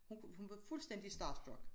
Hun kunne hun var fuldstændig starstruck